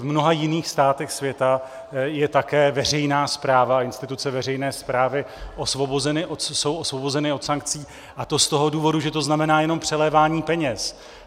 V mnoha jiných státech světa je také veřejná správa a instituce veřejné správy jsou osvobozeny od sankcí, a to z toho důvodu, že to znamená jenom přelévání peněz.